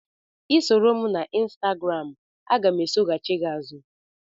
Ị soro m na Ịnstagram, aga m esoghachị gị azụ